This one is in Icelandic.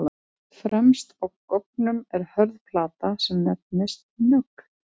Fremst á goggnum er hörð plata sem nefnist nögl.